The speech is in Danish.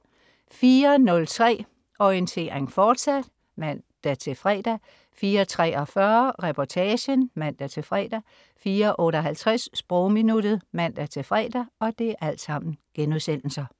04.03 Orientering, fortsat* (man-fre) 04.43 Reportagen* (man-fre) 04.58 Sprogminuttet* (man-fre)